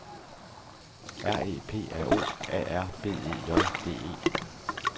R E P R O A R B E J D E